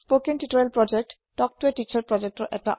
spoken tutorial project তক তো ই তিছাৰৰ এটা ভাগ